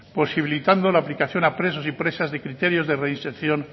posibilitando la aplicación a presos y presas de criterios de reinserción